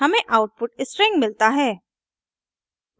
हमें output string मिलता है